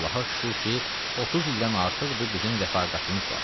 Allaha şükür ki, 30 ildən artıqdır bizim rəfaqətimiz var.